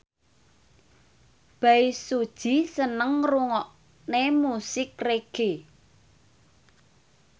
Bae Su Ji seneng ngrungokne musik reggae